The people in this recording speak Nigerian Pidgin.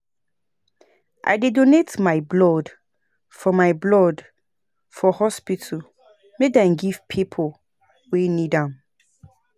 I dey donate my blood for my blood for hospital make dem give pipo wey need am.